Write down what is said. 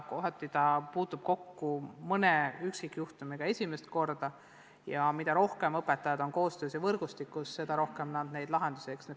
Vahel ta puutub mõne üksikjuhtumiga kokku esimest korda ja mida rohkem õpetajaid koostöövõrgustikus on, seda rohkem talle lahendusi pakutakse.